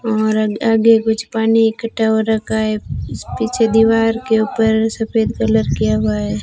और आगे कुछ पानी इकठ्ठा हो रखा है पीछे दीवार के ऊपर सफेद कलर किया हुआ है।